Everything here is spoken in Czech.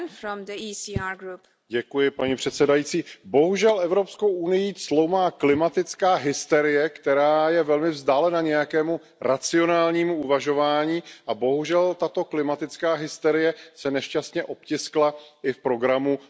Paní předsedající, bohužel Evropskou unií cloumá klimatická hysterie, která je velmi vzdálena nějakému racionálnímu uvažování, a bohužel tato klimatická hysterie se nešťastně obtiskla i v programu nové Evropské komise.